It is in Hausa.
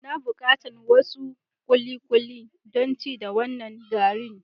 N'na bukatan wasu kulikuli dan ci da wanan garin.